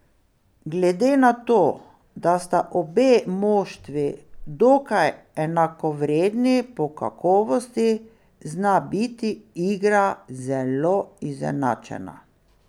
Glede na to, da sta obe moštvi dokaj enakovredni po kakovosti, zna biti igra zelo izenačena.